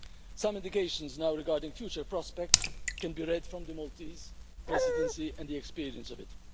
Some indications regarding future prospects can be taken from the Maltese Presidency and the experience of it.